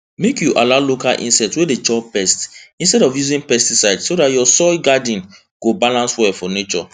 make you allow local insect wey dey chop pests instead of using pesticide so your soil garden go balance well for nature